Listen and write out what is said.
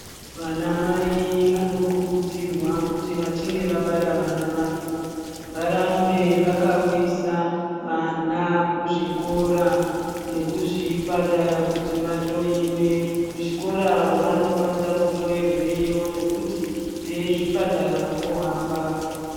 Vana nai vanokurudzirwa kuti vachinge vabara vana vawo varamba vakauyisa vana kuzvikora nekuzviparata kuti vahloiwe kuchikora vanokwanisa kuhloyerweyo nekuti vezvipatara vohamba.